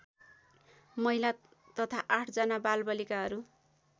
महिला तथा ८ जना बालबालिकाहरू